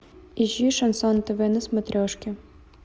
ищи шансон тв на смотрешке